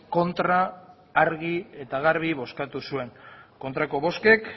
kontra argi eta garbi bozkatu zuen kontrako bozkek